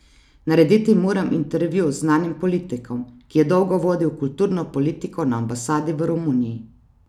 Narediti moram intervju z znanim politikom, ki je dolgo vodil kulturno politiko na ambasadi v Romuniji.